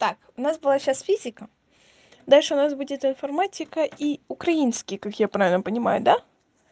так у нас была сейчас физика дальше у нас будет информатика и украинский как я правильно понимаю да